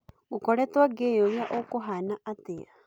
ngũkoretwo ngĩyũria ũkũhana atĩa